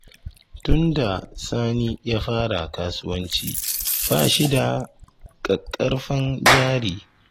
Tunda Sani ya fara kasuwanci, ba shi da ƙaƙƙarfan jari.